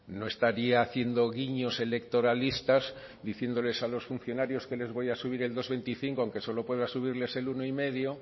no estaría haciendo guiños electoralistas diciéndoles a los funcionarios que les voy a subir el dos coma veinticinco aunque solo pueda subirles el uno coma cinco